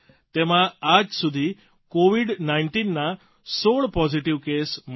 તેમાં આજ સુધીમાં કોવીડ ૧૯ના ૧૬ પોઝીટીવ કેસ મળી આવ્યા છે